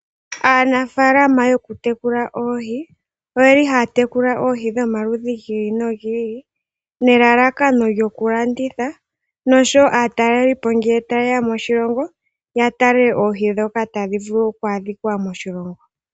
Aanafaalama yoku tekula oohi oyeli haya tekula oohi dhomaludhi gi ili nogi ili nelalakano lyoku landitha noshowo aatalelipo ngele tayeya moshilongo ya tale oohi dhoka tadhi vulu ku adhika moshilongo.